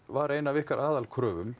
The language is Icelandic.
var ein af ykkar